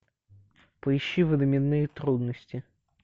поищи временные трудности